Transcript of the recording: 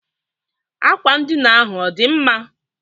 Akwa ndịna ahụ ọ dị mma?